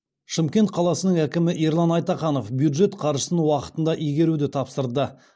шымкент қаласының әкімі ерлан айтаханов бюджет қаржысын уақытында игеруді тапсырды